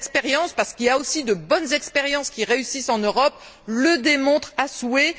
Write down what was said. Les expériences, parce qu'il y a aussi de bonnes expériences qui réussissent en Europe, le démontrent à souhait.